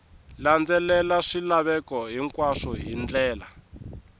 landzelela swilaveko hinkwaswo hi ndlela